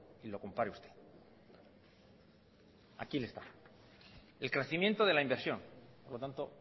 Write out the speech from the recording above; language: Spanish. y lo compare usted aquí está el crecimiento de la inversión por lo tanto